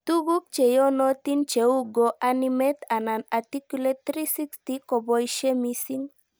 Tuguk cheyonotin cheu GoAnimate anan Articulate360 koboishe mising